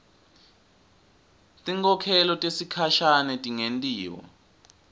tinkhokhelo tesikhashane tingentiwa